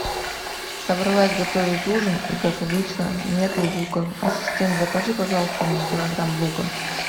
собралась готовить ужин и как обычно нету лука ассистент закажи пожалуйста мне килограмм лука